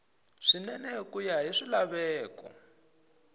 swinene ku ya hi swilaveko